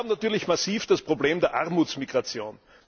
Wir haben natürlich massiv das Problem der Armutsmigration.